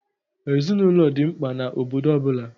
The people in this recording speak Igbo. Ezinaụlọ dị mkpa na obodo ọ bụla.